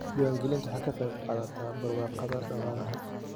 Diiwaangelintu waxay ka qayb qaadataa barwaaqada dhaqaalaha.